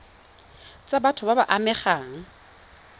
tsa batho ba ba amegang